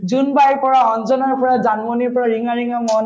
জোনবাইৰ পৰা, অঞ্জনাৰ পৰা, জানমণিৰ পৰা, ৰিঙাৰিঙা মন